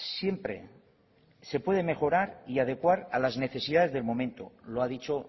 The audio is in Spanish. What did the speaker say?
siempre se puede mejorar y adecuar a las necesidades del momento lo ha dicho